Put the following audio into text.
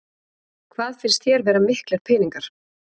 Hvað finnst þér vera miklir peningar?